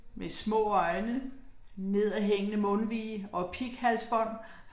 Med små øjne, nedadhængende mundvige og pighalsbånd